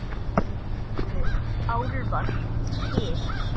Eru álfar til?